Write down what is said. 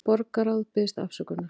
Borgarráð biðst afsökunar